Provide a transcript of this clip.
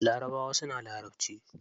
Larabawa suna larabci.